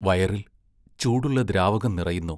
വയറിൽ ചൂടുള്ള ദ്രാവകം നിറയുന്നു...